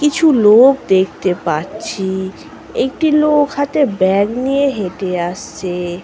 কিছু লোক দেখতে পাচ্ছি। একটি লোক হাতে ব্যাগ নিয়ে হেটে আসছে ।